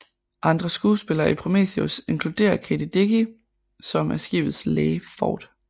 Andre skuespillere i Prometheus inkludere Kate Dickie som er skibets læge Ford